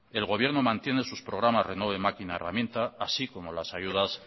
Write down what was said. el gobierno mantiene sus programas renove máquina herramienta así como las ayudas